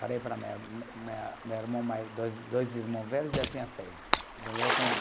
Falei para a minha ir, minha, meu irmão mais, dois dois irmãos velho já tinha saído.